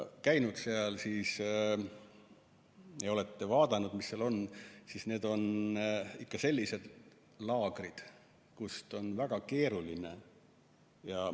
Kui te olete farmides käinud ja olete vaadanud, mis seal on, siis te teate, et need on ikka sellised laagrid, kust on väga keeruline.